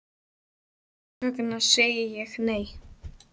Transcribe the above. Þess vegna segi ég, nei!